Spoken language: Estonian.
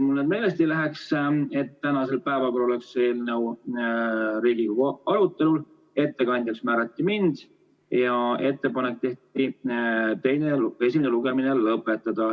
Otsustati, et tänasel päeval on eelnõu Riigikogus arutelul, ettekandjaks määrati mind ja tehti ettepanek esimene lugemine lõpetada.